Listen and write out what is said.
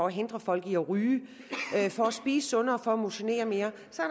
hindre folk i at ryge for at spise sundere for at motionere mere